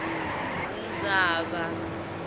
ndzaba